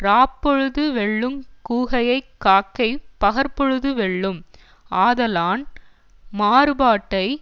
இராப்பொழுது வெல்லுங் கூகையை காக்கை பகற்பொழுது வெல்லும் ஆதலான் மாறுபாட்டை